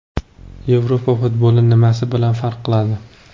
Yevropa futboli nimasi bilan farq qiladi?